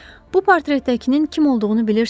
Bu portretdəkinin kim olduğunu bilirsiz?